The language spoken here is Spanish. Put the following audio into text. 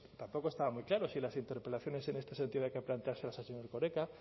tampoco estaba muy claro si las interpelaciones en este sentido había que planteárselas al señor erkoreka